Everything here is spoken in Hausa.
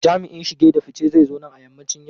Jami'in shige da fice zai zo nan a yammacin yau.